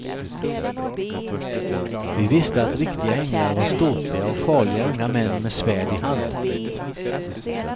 Vi visste att riktiga änglar var ståtliga och farliga unga män med svärd i hand.